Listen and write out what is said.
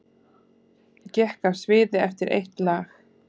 Gekk af sviði eftir eitt lag